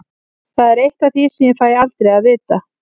Það er eitt af því sem ég fæ aldrei að vita.